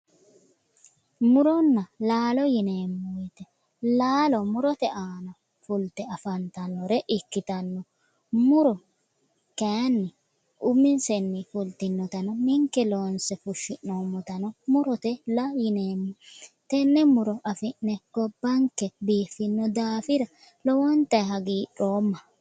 Muronna laalo yineemmo weete laalo murote aanna fulite afantannore ikitanno muru kayinni ninke loonse fushshi'noommotanno murote yineemmo